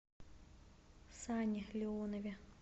сане леонове